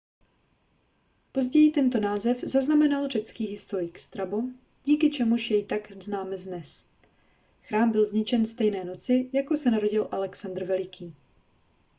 později tento název zaznamenal řecký historik strabo díky čemuž jej takto známe dnes chrám byl zničen stejné noci kdy se narodil alexandr veliký